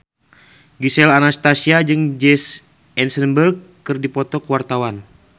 Gisel Anastasia jeung Jesse Eisenberg keur dipoto ku wartawan